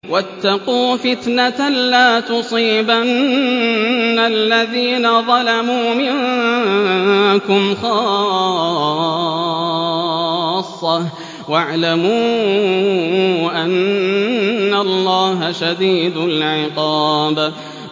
وَاتَّقُوا فِتْنَةً لَّا تُصِيبَنَّ الَّذِينَ ظَلَمُوا مِنكُمْ خَاصَّةً ۖ وَاعْلَمُوا أَنَّ اللَّهَ شَدِيدُ الْعِقَابِ